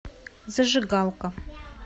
зажигалка